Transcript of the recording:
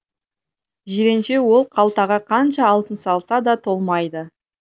жиренше ол қалтаға қанша алтын салса да толмайды